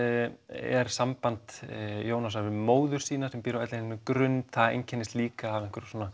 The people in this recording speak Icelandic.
er samband Jónasar við móður sína sem býr á Grund það einkennist líka af